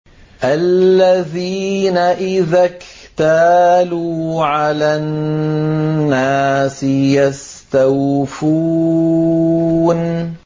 الَّذِينَ إِذَا اكْتَالُوا عَلَى النَّاسِ يَسْتَوْفُونَ